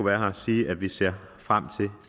være her sige at vi ser frem til